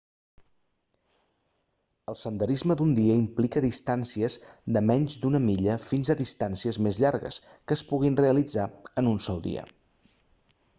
el senderisme d'un dia implica distàncies de menys d'una milla fins a distàncies més llargues que es puguin realitzar en un sol dia